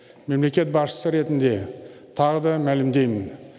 мемлекет басшысы ретінде тағы да мәлімдеймін